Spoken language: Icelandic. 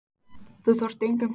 Þú þarft engan tíma til að hugsa.